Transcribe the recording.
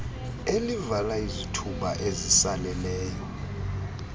elivala izithuba ezisaleleyo